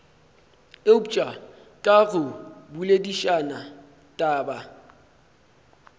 eupša ka go boledišana taba